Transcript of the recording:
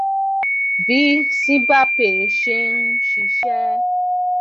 bí simbapay ṣe ń ṣiṣẹ